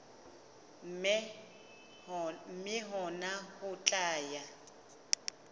mme hona ho tla ya